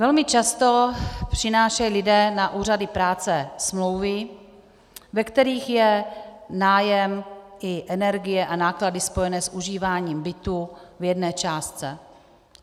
Velmi často přinášejí lidé na úřady práce smlouvy, ve kterých je nájem i energie a náklady spojené s užíváním bytu v jedné částce.